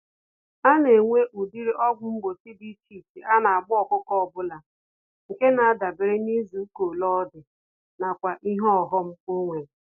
Anenwe ụdịrị ọgwụ mgbochi dị iche iche anagba ọkụkọ ọbula, nke nadabere n'izuka ole ọdị, nakwa ìhè ọghom onwere.